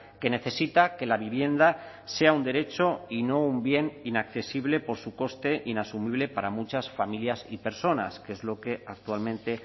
que necesita que la vivienda sea un derecho y no un bien inaccesible por su coste inasumible para muchas familias y personas que es lo que actualmente